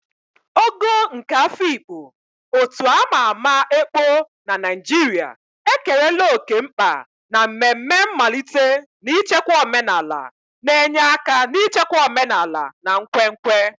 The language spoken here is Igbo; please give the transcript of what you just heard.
Ogo nke Afikpo, otu a ma ama ekpo na Naijiria, ekerela oke mkpa na mmemme mmalite na ichekwa omenala, na-enye aka n'ichekwa omenala na nkwenkwe.